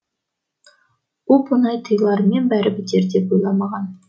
оп оңай тыйылар мен бәрі бітер деп ойламағам